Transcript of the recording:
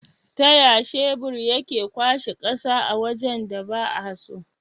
Taya shebur yake kwashe ƙasa a wajan da ba'a so?